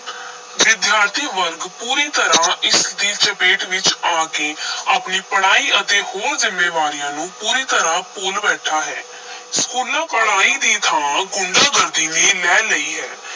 ਵਿਦਿਆਰਥੀ ਵਰਗ ਪੂਰੀ ਤਰ੍ਹਾਂ ਇਸ ਦੀ ਚਪੇਟ ਵਿੱਚ ਆ ਕੇ ਆਪਣੀ ਪੜ੍ਹਾਈ ਅਤੇ ਹੋਰ ਜ਼ਿੰਮੇਵਾਰੀਆਂ ਨੂੰ ਪੂਰੀ ਤਰ੍ਹਾਂ ਭੁੱਲ ਬੈਠਾ ਹੈ ਸਕੂਲਾਂ ਪੜ੍ਹਾਈ ਦੀ ਥਾਂ ਗੁੰਡਾ-ਗਰਦੀ ਨੇ ਲੈ ਲਈ ਹੈ।